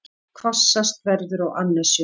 Hvassast verður á annesjum